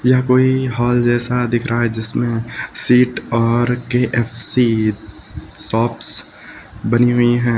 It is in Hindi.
यह कोई हॉल जैसा दिख रहा है जिसमे शीट और के_एफ_सी शॉप्स बनी हुई हैं।